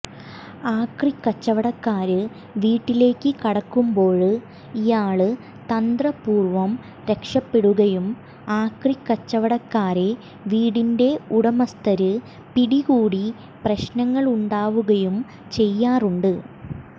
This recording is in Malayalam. ആക്രി കച്ചവടക്കാര് വീട്ടിലേക്ക് കടക്കുമ്പോള് ഇയാള് തന്ത്രപൂര്വം രക്ഷപ്പെടുകയും ആക്രിക്കച്ചവടക്കാരെ വീടിന്റെ ഉടമസ്ഥര് പിടികൂടി പ്രശ്നങ്ങളുണ്ടാവുകയും ചെയ്യാറുണ്ട്